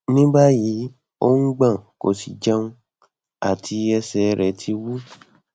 ní báyìí ó ń gban kò sí jẹun àti ẹsẹ rẹ ti wu